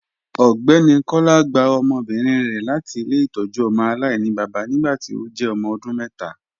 Ọgbẹni Kọla gbà ọmọbírin rẹ láti ilẹ̀-itọ́jú ọmọ alainibaba nígbàtí ó jẹ́ ọmọ ọdún mẹta.